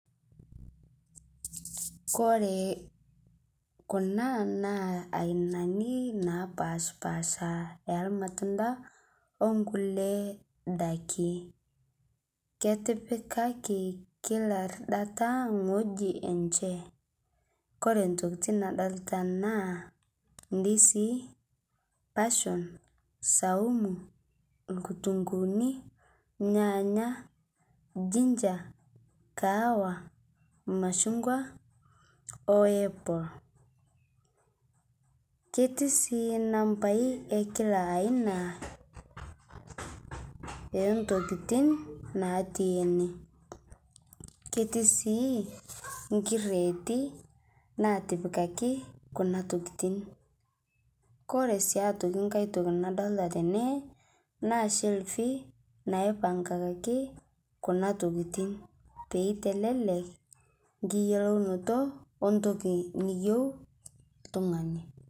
Kore kuna naa ainani naapashpasha e lmatundaa onkulee daaki. Ketipikaki kila irridataa ng'ojii enchee. Kore ntokitiin nadolita naa ndisii, passion, saumu, lkutunguuni, lnyanya, ginger, kahawa, mashung'wa, o apple. Ketii sii nambai e kila aina e ntokitin natii ene. Ketii sii nkireeti natipikaki kuna tokitin. Kore sii aitokii nkaai ntokii nadolita tene naa shelfii naipang'akakii kuna ntokitin pee eitelelek nkiyelounoto ontokii neiyeu ltung'ani.